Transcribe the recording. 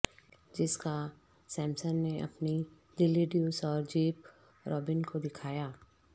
Jessica Simpson نے اپنے دلی ڈیوس اور جیپ روبن کو دکھایا